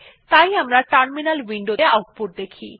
তাই আমরা terminal window ত়ে আউটপুট দেখি